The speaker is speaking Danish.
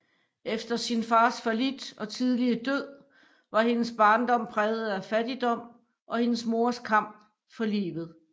Efter sin fars fallit og tidlige død var hendes barndom præget af fattigdom og hendes mors kamp for livet